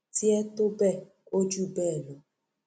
tiẹ tó bẹẹ ó jù bẹẹ lọ